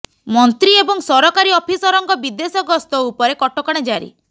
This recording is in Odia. ମନ୍ତ୍ରୀ ଏବଂ ସରକାରୀ ଅଫିସରଙ୍କ ବିଦେଶ ଗସ୍ତ ଉପରେ କଟକଣା ଜାରି